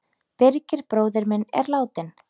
Birgir bróðir minn er látinn.